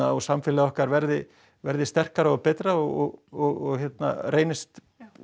og samfélagið okkar verði verði sterkara og betra og reynist